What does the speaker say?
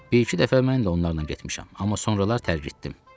Bir-iki dəfə mən də onlarla getmişəm, amma sonralar tərgitdim.